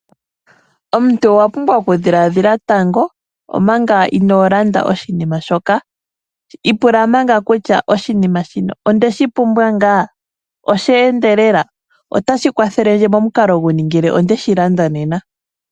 Omuntu owa pumbwa oku dhiladhila tango manga inoo landa oshinima shoka. Ipula manga kutya: Ondeshi pumbwa ngaa? Osheendelela? Otashi kwathele ndje momukalo guni ngele ondeshi landa nena?